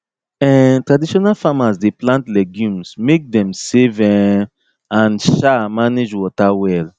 um traditional farmers dey plant legumes make them save um and um manage water well